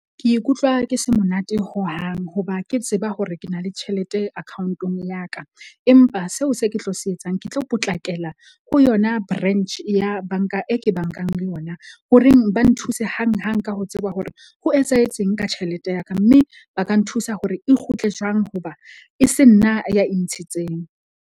Ke ikutlwa ke se monate hohang hoba ke tseba hore ke na le tjhelete account-ong ya ka. Empa seo se ke tlo se etsang, ke tlo potlakela ho yona branch ya bank-a e ke bank-ang le yona ho reng ba nthuse hang hang ka ho tseba hore ho etsahetseng ka tjhelete ya ka. Mme ba ka nthusa hore e kgutle jwang hoba e se nna ya e ntshitseng.